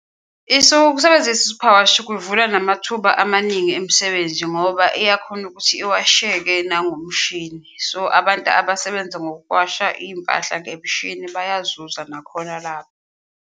Ukusebenzisa i-superwash kuvula namathuba amaningi emisebenzi ngoba iyakhona ukuthi iwasheke nongomshini, so abantu abasebenza ngokuwashwa iyimpahla ngemishini bayazuza nakhona lapho.